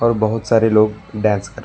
और बहोत सारे लोग डांस कर--